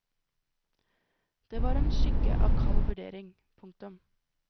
Det var en skygge av kald vurdering. punktum